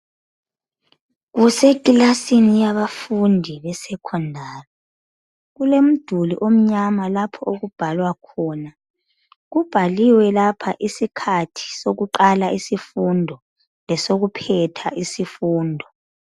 Kusekilasini yabafundi besekhondari. Kulomduli omnyama lapho okubhalwa khona. Kubhaliwe lapha isikhathi sokuqala isifundo lesokuphetha isifundo.